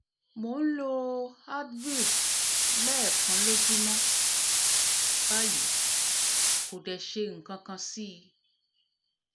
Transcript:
mò ń lo advil lẹ́ẹ̀kan lójúmọ́ báyìí kò dẹ̀ ṣe nǹkankan sí i